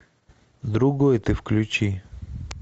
другой ты включи